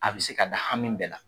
A bi se ka da hami bɛɛ la.